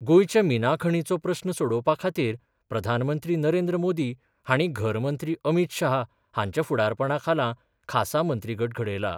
गोंयच्या मिना खणीचो प्रस्न सोडोवपा खातीर प्रधानमंत्री नरेंद्र मोदी हांणी घर मंत्री अमीत शाह हांच्या फुडारपणा खाला खासा मंत्रीगट घडयला.